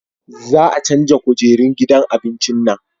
Za a canja kujerun gidan abincin nan